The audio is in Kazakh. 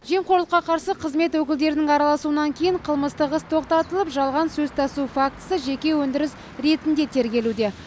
жемқорлыққа қарсы қызмет өкілдерінің араласуынан кейін қылмыстық іс тоқтатылып жалған сөз тасу фактісі жеке өндіріс ретінде тергелуде